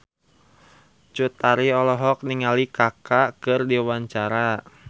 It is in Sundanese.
Cut Tari olohok ningali Kaka keur diwawancara